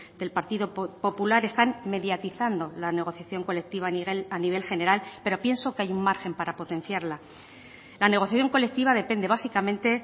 del partido popular están mediatizando la negociación colectiva a nivel general pero pienso que hay un margen para potenciarla la negociación colectiva depende básicamente